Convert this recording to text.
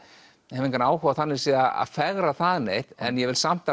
hef engan áhuga á þannig séð að fegra það neitt en ég vil samt